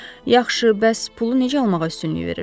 Yaxşı, bəs pulu necə almağa üstünlük verirsiz?